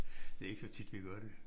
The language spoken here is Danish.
Det ikke så tit vi gør det